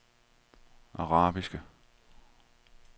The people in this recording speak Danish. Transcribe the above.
arabiske